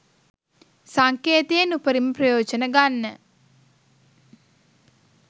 සංකේතයෙන් උපරිම ප්‍රයෝජන ගන්න